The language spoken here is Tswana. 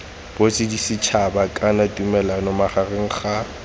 boditšhabatšhaba kana tumalano magareng ga